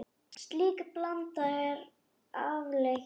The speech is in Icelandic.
Slík blanda er afleit.